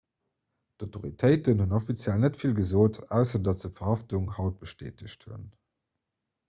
d'autoritéiten hunn offiziell net vill gesot ausser datt se d'verhaftung haut bestätegt hunn